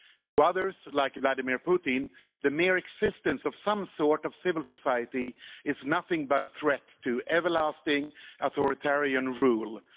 To others like Vladimir Putin, the mere existence of some sort of civil society is nothing but a threat to everlasting authoritarian rule.